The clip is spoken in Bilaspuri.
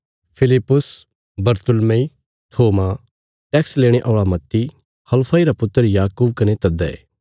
फिलिप्पुस बरतुल्मै थोमा टैक्स लेणे औल़ा मत्ती हलफई रा पुत्र याकूब कने तद्दै